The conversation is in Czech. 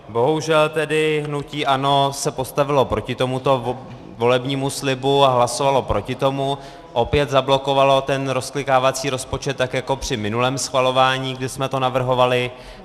Bohužel tedy hnutí ANO se postavilo proti tomuto volebnímu slibu a hlasovalo proti tomu, opět zablokovalo ten rozklikávací rozpočet, tak jako při minulém schvalování, kdy jsme to navrhovali.